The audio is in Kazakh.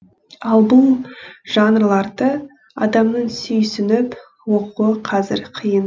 ал бұл жанрларды адамның сүйсініп оқуы қазір қиын